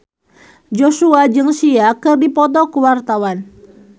Joshua jeung Sia keur dipoto ku wartawan